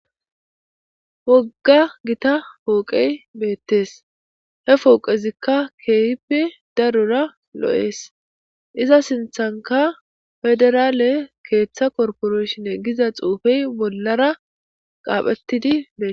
Wogga gita pooqey beettes he pooqezikka kehipe darura lo7ees iza sinthanka federaale keeththa korporoshinne giza xuufey bollara qaaphettidi bee